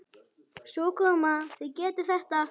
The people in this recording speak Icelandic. Koma svo, þið getið þetta!